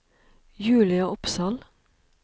Julia Opsahl